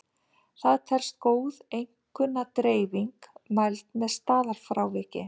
Það telst góð einkunnadreifing mæld með staðalfráviki.